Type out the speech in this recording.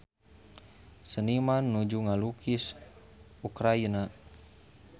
Seniman nuju ngalukis Ukraina